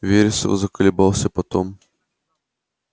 вересов заколебался потом пробормотал